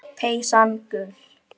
Peysan gul.